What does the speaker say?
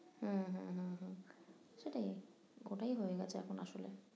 উম হম হম হম সেটাই ওটাই হয়ে গেছে এখন আসলে